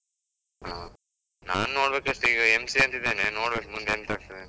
ಆ, ನಾನ್ ನೋಡ್ಬೇಕಷ್ಟೆ ಈಗ MCA ಅಂತ್ ಇದೆನೆ, ನೋಡ್ಬೇಕ್ ಮುಂದೇ ಎಂತ ಆಗ್ತದೆಂತ.